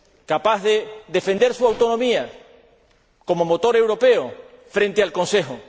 capaz de defender su autonomía, como motor europeo, frente al Consejo